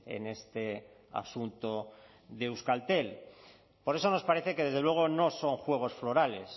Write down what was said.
en este asunto de euskaltel por eso nos parece que desde luego no son juegos florales